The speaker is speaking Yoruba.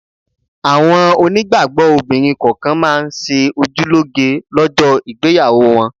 Àwọn onígbàgbọ́ obìnrin kọ̀ọ̀kan máa ń ṣe ojú lóge lọ́jọ́ ìgbéyàwó wọn